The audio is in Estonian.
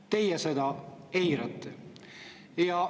" Teie seda eirate.